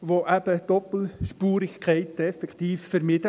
Damit werden Doppelspurigkeiten eben effektiv vermieden.